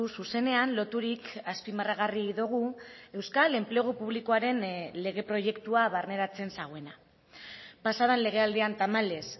zuzenean loturik azpimarragarri dugu euskal enplegu publikoaren lege proiektua barneratzen zuena pasa den lege aldian tamalez